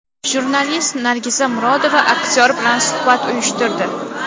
Jurnalist Nargiza Murodova aktyor bilan suhbat uyushtirdi.